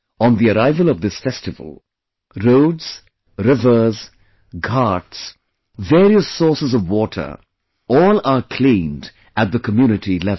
On the arrival of this festival, roads, rivers, ghats, various sources of water, all are cleaned at the community level